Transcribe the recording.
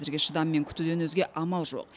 әзірге шыдаммен күтуден өзге амал жоқ